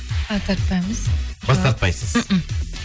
а тартпаймыз бас тартпайсыз